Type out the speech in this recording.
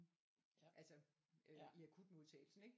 Altså øh i akutmodtagelsen ik?